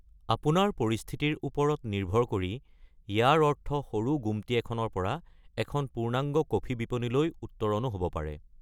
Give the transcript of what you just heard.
আপোনাৰ পৰিস্থিতিৰ ওপৰত নিৰ্ভৰ কৰি, ইয়াৰ অৰ্থ সৰু গুম্‌টি এখনৰ পৰা এখন পূৰ্ণাংগ কফি বিপনীলৈ উত্তৰণো হ'ব পাৰে।